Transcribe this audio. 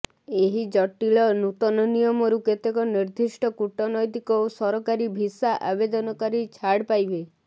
ଏହି ଜଟିଳ ନୂତନ ନିୟମରୁ କେତେକ ର୍ନିଦ୍ଦିଷ୍ଟ କୂଟନୈତିକ ଓ ସରକାରୀ ଭିସା ଆବେଦନକାରୀ ଛାଡ଼ ପାଇବେ